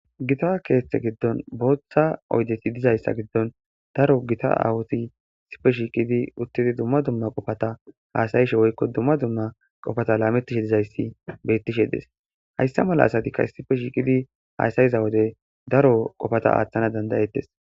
gita keeththe giddon booththa oydeti dizayssa giddon daro gita awuti sipe shiiqidi uttidi dumma dumma qofata haasayishe woykko dumma dumma qofata laamettishe dizayssi beettishe dees hayssa mala asatikka ssipe shiiqidi haasayiza wode daro qofata aaththana dandayettes